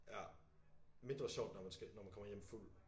Ja mindre sjovt når man skal når man kommer hjem fuld